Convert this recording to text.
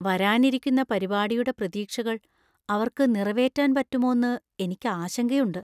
വരാനിരിക്കുന്ന പരിപാടിയുടെ പ്രതീക്ഷകൾ അവര്‍ക്ക് നിറവേറ്റാന്‍ പറ്റുമോന്ന് എനിക്ക് ആശങ്കയുണ്ട്.